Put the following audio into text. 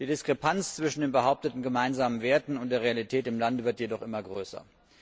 Die Diskrepanz zwischen den behaupteten gemeinsamen Werten und der Realität im Lande wird jedoch immer größer.